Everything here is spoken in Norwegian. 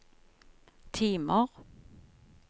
timer